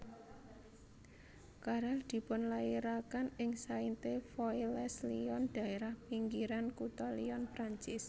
Carrel dipunlairaken ing Sainte Foy les Lyon daérah pinggiran kutha Lyon Perancis